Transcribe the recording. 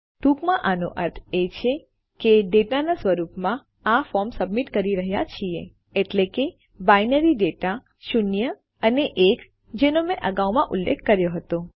ટૂંકમાં આનો અર્થ એ છે કે આપણે ડેટાના સ્વરૂપમાં આ ફોર્મ સબમિટ કરી રહ્યા છીએ એટલે કે બાઈનરી ડેટા શૂન્ય અને એક જેનો મેં અગાઉ અહીં ઉલ્લેખ કર્યો હતો